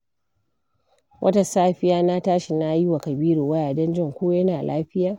Wata safiya, na tashi na yi wa Kabiru waya don jin ko yana lafiya.